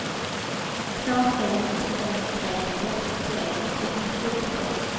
två fem tre tre femtiotre etthundrafjorton